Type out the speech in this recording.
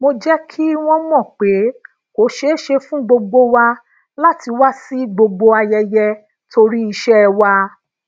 mo je ki won mo pé ko seese fun gbogbo wa lati wa si gbogbo ayeye tori ise wa